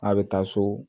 A bɛ taa so